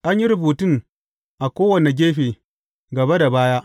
An yi rubutun a kowane gefe, gaba da baya.